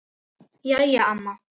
Jæja amma.